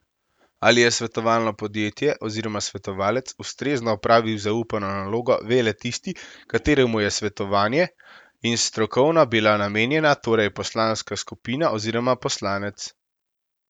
Ali je svetovalno podjetje oziroma svetovalec ustrezno opravil zaupano nalogo, ve le tisti, kateremu je svetovanje in strokovna bila namenjena, torej poslanska skupina oziroma poslanec.